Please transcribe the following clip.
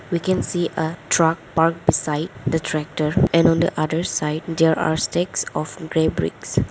We can see a truck parked beside the tractor and on the other side there are stacks of grey bricks.